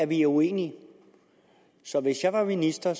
vi er uenige så hvis jeg var minister